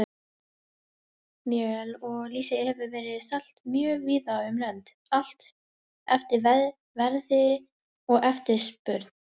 Fiskmjöl og lýsi hefur verið selt mjög víða um lönd, allt eftir verði og eftirspurn.